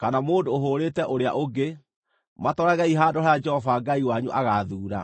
kana mũndũ ũhũũrĩte ũrĩa ũngĩ, matwaragei handũ harĩa Jehova Ngai wanyu agaathuura.